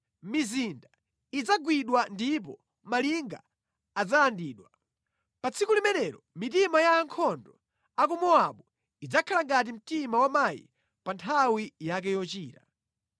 Mizinda idzagwidwa ndipo malinga adzalandidwa. Pa tsiku limenelo mitima ya ankhondo a ku Mowabu idzakhala ngati mtima wa mayi pa nthawi yake yochira.